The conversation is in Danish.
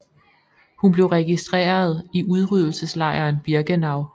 Hun blev registreret i udryddelseslejren Birkenau